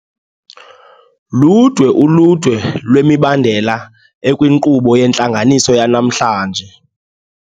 Ludwe uludwe lwemibandela ekwinkqubo yentlanganiso yanamhlanje.